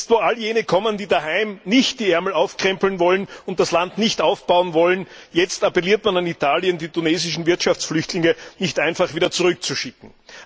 Jetzt, wo all jene kommen, die daheim nicht die Ärmel aufkrempeln und das Land nicht aufbauen wollen, appelliert man an Italien, die tunesischen Wirtschaftsflüchtlinge nicht einfach wieder zurückzuschicken.